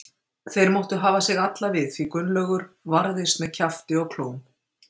Þeir máttu hafa sig alla við því Gunnlaugur varðist með kjafti og klóm.